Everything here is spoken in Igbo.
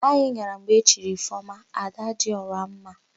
Anyị gara mgbe e chiri Ifeọma, Adadịọramma.